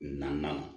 Naaninan